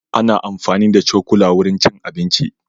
Ana amfani da cokula wurin cin abinci.